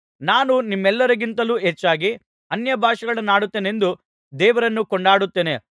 ನಾನು ನಿಮ್ಮೆಲ್ಲರಿಗಿಂತಲೂ ಹೆಚ್ಚಾಗಿ ಅನ್ಯಭಾಷೆಗಳನ್ನಾಡುತ್ತೇನೆಂದು ದೇವರನ್ನು ಕೊಂಡಾಡುತ್ತೇನೆ